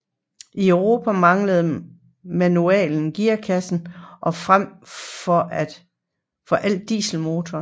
I Europa manglende manuel gearkasse og frem for alt dieselmotorer